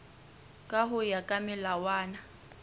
ka ho ya ka melawana